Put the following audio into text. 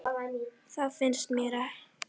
Það finnst mér.